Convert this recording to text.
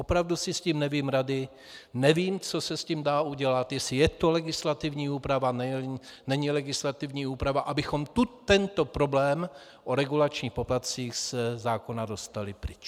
Opravdu se s tím nevím rady, nevím, co se s tím dá udělat, jestli je to legislativní úprava, není legislativní úprava, abychom tento problém o regulačních poplatcích ze zákona dostali pryč.